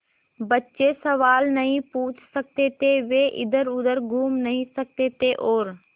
बच्चे सवाल नहीं पूछ सकते थे वे इधरउधर घूम नहीं सकते थे और